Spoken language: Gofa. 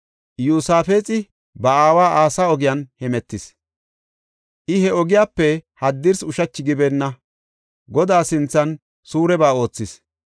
Iyosaafexi ba aawa Asa ogiyan hemetis; I he ogiyape haddirsi ushachi gibeenna; Godaa sinthan suureba oothis.